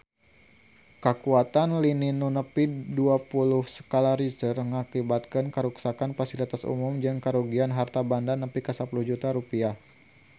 Kakuatan lini nu nepi dua puluh skala Richter ngakibatkeun karuksakan pasilitas umum jeung karugian harta banda nepi ka 10 juta rupiah